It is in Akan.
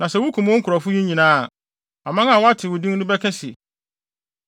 Na sɛ wukum wo nkurɔfo yi nyinaa a, aman a wɔate wo din no bɛka se,